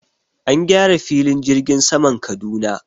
An gyara filin jirgin saman Kaduna.